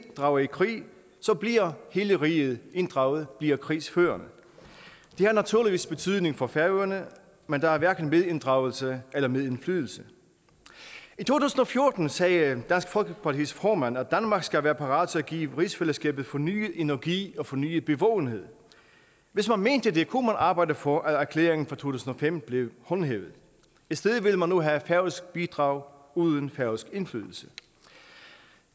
drager i krig bliver hele riget inddraget bliver krigsførende det har naturligvis betydning for færøerne men der er hverken medinddragelse eller medindflydelse i to tusind og fjorten sagde dansk folkepartis formand at danmark skal være parat til at give rigsfællesskabet fornyet energi og fornyet bevågenhed hvis man mente det kunne man arbejde for at erklæringen fra to tusind og fem blev håndhævet i stedet vil man nu have færøsk bidrag uden færøsk indflydelse